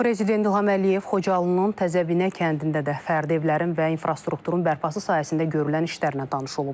Prezident İlham Əliyev Xocalının Təzəbinə kəndində də fərdi evlərin və infrastrukturun bərpası sayəsində görülən işlərlə tanış olub.